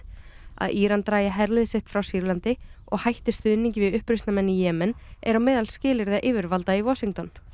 að Íran dragi herlið sitt frá Sýrlandi og hætti stuðningi við uppreisnarmenn í Jemen er á meðal skilyrða yfirvalda í Washington í